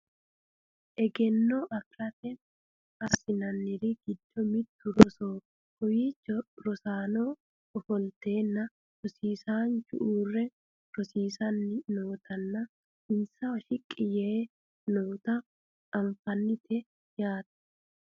egenno afirate assinanniri giddo mittu rosoho kowiichno rosaano ofolteenna rosiisaanchu uurre rosiisanni nootanna insawa shiqqi yee noota anfannite yaate .